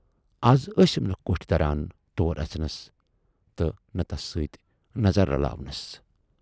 "اَز ٲسِم نہٕ کوٗٹھۍ دران تور اَژٕنَس تہٕ نہٕ تَس سۭتۍ نظر رلاونَس۔